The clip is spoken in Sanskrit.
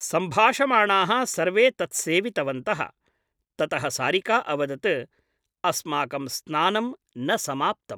सम्भाषमाणाः सर्वे तत् सेवितवन्तः । ततः सारिका अवदत् अस्माकं स्नानं न समाप्तम् ।